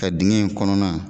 Ka dingɛ in kɔnɔna